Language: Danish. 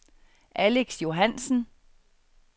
Alex Johannsen